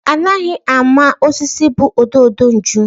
Anaghị ama osisi bu ododo nju.